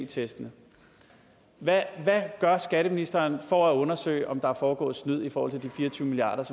testene hvad gør skatteministeren for at undersøge om der er foregået snyd for de fire og tyve milliard